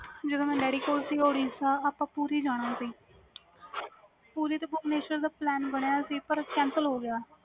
ਜਦੋ ਮੈਂ ਡੈਡੀ ਕੋਲ ਸੀ ਅਸੀਂ ਉੜੀਸਾ ਪੁਰੀ ਜਾਣਾ ਸੀ ਪੁਰੀ ਦਾ plan cancel ਹੋ ਗਿਆ ਸੀ